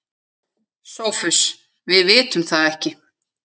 SOPHUS: Við vitum það ekki.